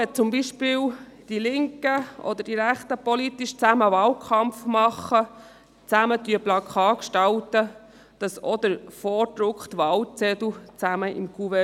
Führen zum Beispiel die Linken oder die Rechten zusammen einen politischen Wahlkampf, oder werden gemeinsam Plakate gestaltet, dann wären auch die vorgedruckten Wahlzettel zusammen in einem Kuvert.